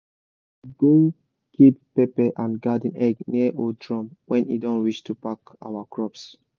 we go keep pepper and garden egg near old drum when e don reach to pack our crops.